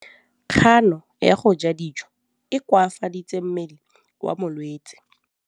Kganô ya go ja dijo e koafaditse mmele wa molwetse.